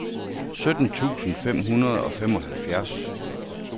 sytten tusind fem hundrede og femoghalvfjerds